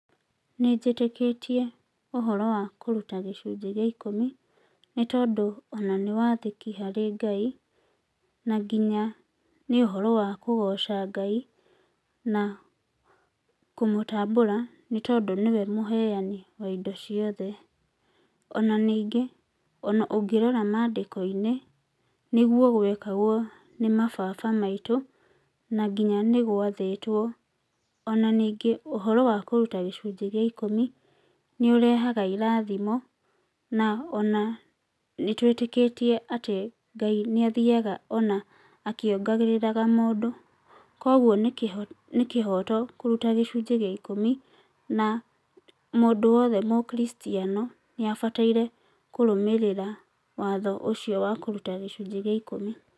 Nĩnjĩtĩkĩtie ũhoro wa kũruta gĩcunjĩ gĩa ikũmi nĩtondũ ona nĩ wathĩki harĩ Ngai, na nginya nĩ ũhoro wa kũgoca Ngai na kũmũtambũra nĩtondũ nĩwe mũheani wa indo ciothe. Ona ningĩ ona ũngĩrora mandĩko-inĩ nĩguo gwekagwo nĩ mababa maitũ na nginya nĩgwathĩtwo ona ningĩ ũhoro wa kũruta gĩcunjĩ gĩa ikũmi nĩũrehaga irathimo na ona nĩtwĩtĩkĩtie atĩ Ngai nĩathiaga ona akĩongagĩrĩraga mũndũ, kwoguo nĩkĩho nĩkĩhoto kũruta gĩcunjĩ gĩa ikũmi na mũndũ wothe mũkristiano nĩabataire kũrũmĩrĩra watho ũcio wa kũruta gĩcunjĩ gĩa ikũmi.